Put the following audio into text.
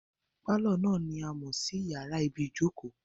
Pálọ̀ náà ni a mọ̀ sí yàrá ibìí jókòó